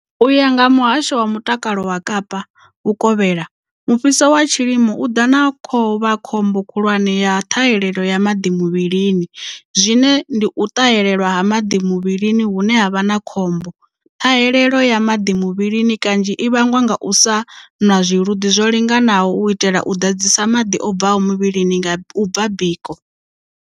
U ya nga ha Muhasho wa Mutakalo wa Kapa Vhukovhela, mufhiso wa tshilimo u ḓa na khovha khombo khulwane ya ṱhahelelo ya maḓi muvhilini, zwine ndi u ṱahelelwa ha maḓi muvhilini hune ha vha khombo. Ṱhahelelo ya maḓi muvhilini kanzhi i vhangwa nga u sa nwa zwiluḓi zwo linganaho u itela u ḓadzisa maḓi o bvaho muvhilini nga u bva biko.